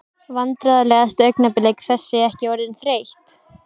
Vandræðalegasta augnablik: Þessi ekki orðin þreytt?